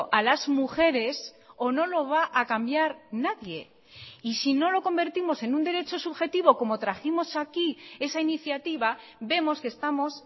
a las mujeres o no lo va a cambiar nadie y si no lo convertimos en un derecho subjetivo como trajimos aquí esa iniciativa vemos que estamos